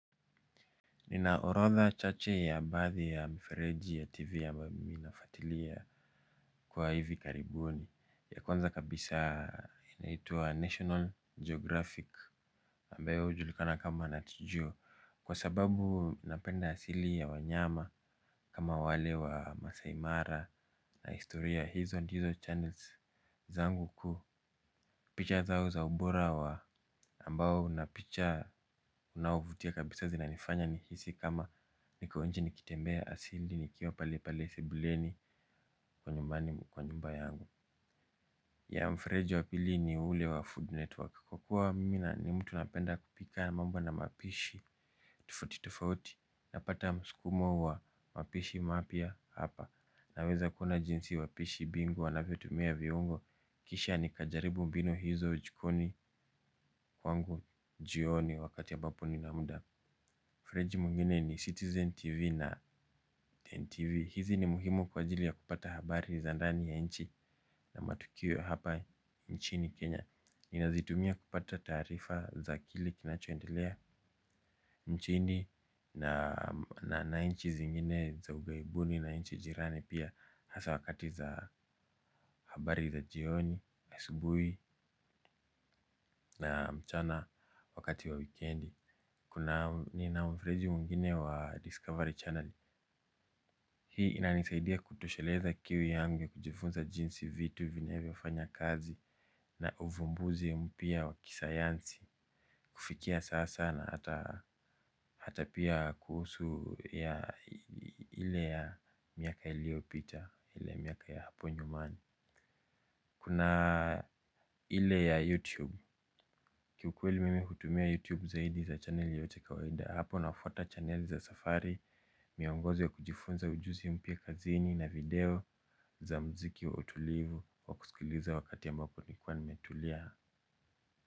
Nina orodha chache ya baadhi ya mifereji ya tv ambayo mimi nafuatilia kwa hivi karibuni ya kwanza kabisa inaitwa national geographic ambayo ujulikana kama natgeo kwa sababu napenda asili ya wanyama kama wale wa masaai mara na historia hizo hizo hizo channels zangu ku picha zao za ubora wa ambao na picha unaovutia kabisa zinanifanya ni hisi kama niko nje nikitembea asili ni kiwa pali pali sebuleni kwa nyumbani kwa nyumba yangu. Ya mfreji wa pili ni ule wa food network kwa kuwa mimi na ni mtu napenda kupika mambo na mapishi toafuti tofauti napata mskumo wa mapishi mapya hapa. Naweza kuona jinsi wapishi bingu wanavyotumia viungo. Kisha nikajaribu mbinu hizo jikoni kwangu jioni wakati ambapo nina muda. Freji mungine ni Citizen TV na NTV. Hizi ni muhimu kwa ajili ya kupata habari za ndani ya nchi na matukio ya hapa nchini Kenya. Ninazitumia kupata taarifa za kile kinachoendelea nchini na na nchi zingine za ughaibuni na na nchi jirani pia hasa wakati za habari za jioni, asubuhi na mchana wakati wa wikendi nina mfereji mwingine wa Discovery Channel. Hii inanisaidia kutosheleza kiu yangu ya kujifunza jinsi vitu vinyovofanya kazi na uvumbuzi ya mpya wa kisayansi. Kufikia sasa na hata pia kuhusu ya ile ya miaka iliopita, ile miaka ya hapo nyumani. Kuna ile ya YouTube, kiukweli mimi kutumia YouTube zaidi za channeli yote kawaida. Hapo nafwata channeli za safari, miongozo ya kujifunza ujuzi mpya kazini na video za muziki wa utulivu wa kusikuliza wakati ambao nimekua nimetulia.